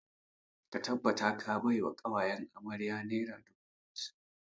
Ka tabbata ka bai wa ƙawayen amarya naira dubu hamsin!